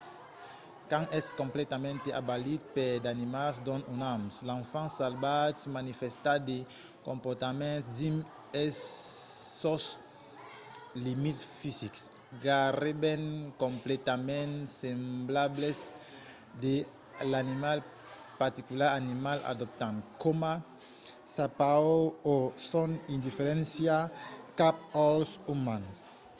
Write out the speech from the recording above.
quand es completament abalit per d’animals non umans l’enfant salvatge manifèsta de comportaments dins sos limits fisics gaireben completament semblables sls de l’animal particular animal adoptant coma sa paur o son indiferéncia cap als umans